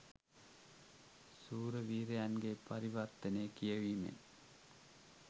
සුරවීරයන්ගේ පරිවර්තනය කියවීමෙන්